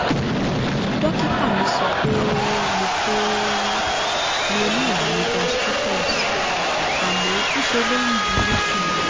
dókítà mi sọ pé mo pé mo ní ààrùn gastritus àmọ́ ńṣe ló ń burú sí i